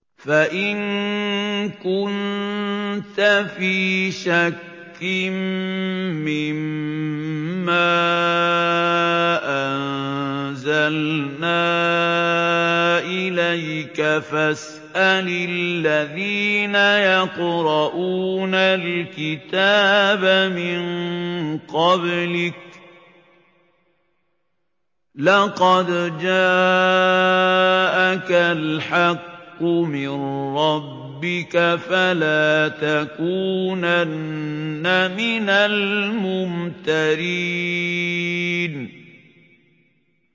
فَإِن كُنتَ فِي شَكٍّ مِّمَّا أَنزَلْنَا إِلَيْكَ فَاسْأَلِ الَّذِينَ يَقْرَءُونَ الْكِتَابَ مِن قَبْلِكَ ۚ لَقَدْ جَاءَكَ الْحَقُّ مِن رَّبِّكَ فَلَا تَكُونَنَّ مِنَ الْمُمْتَرِينَ